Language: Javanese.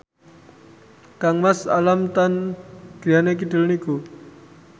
kangmas Alam Tam griyane kidul niku